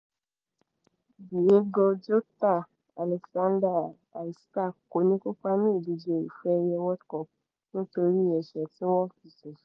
diego jota alexander isak kò ní kópa ní ìdíje ife ẹ̀yẹ world cup nítorí ẹ̀ṣẹ̀ tí wọ́n fi ṣèṣe